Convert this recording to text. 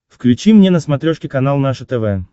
включи мне на смотрешке канал наше тв